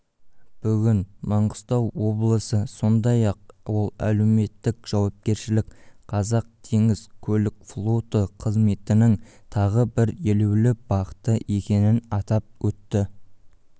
бүгін маңғыстау облысы сондай-ақ ол әлеуметтік жауапкершілік қазақтеңізкөлікфлоты қызметінің тағы бір елеулі бағыты екенін атап өтті